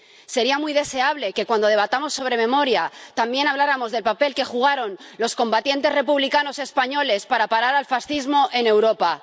Sería muy deseable que, cuando debatamos sobre memoria, también habláramos del papel que jugaron los combatientes republicanos españoles para parar al fascismo en Europa.